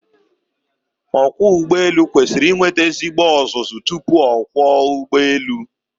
Ọkwọụgbọelu kwesiri inweta ezigbo ọzụzụ tupu ọ kwọọ ụgbọelu.